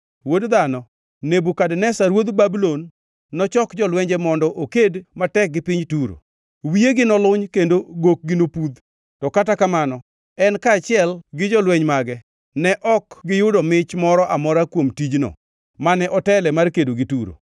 “Wuod dhano, Nebukadneza ruodh Babulon nochoko jolwenje mondo oked matek gi piny Turo; wiyegi noluny kendo gokgi nobuth. To kata kamano en kaachiel gi jolweny mage ne ok giyudo mich moro amora kuom tijno mane otele mar kedo gi Turo.